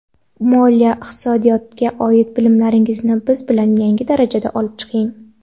Moliya va iqtisodga oid bilimlaringizni biz bilan yangi darajaga olib chiqing.